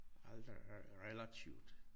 Alt er relativt